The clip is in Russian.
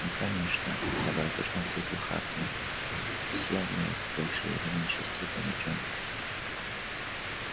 ну конечно добродушно ответил хардин все мы в большей или меньшей степени учёные